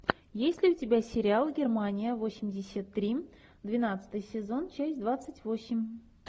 есть ли у тебя сериал германия восемьдесят три двенадцатый сезон часть двадцать восемь